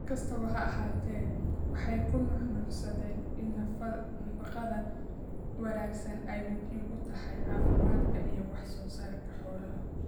Si kastaba ha ahaatee, waxay ku nuuxnuuxsadeen in nafaqada wanaagsani ay muhiim u tahay caafimaadka iyo wax soo saarka xoolaha.